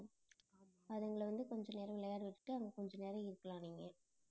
அதுங்களை வந்து கொஞ்ச நேரம் விளையாட வெச்சுட்டு அங்க கொஞ்ச நேரம் இருக்கலாம் நீங்க